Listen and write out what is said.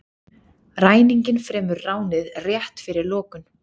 Ræninginn fremur ránið rétt fyrir lokun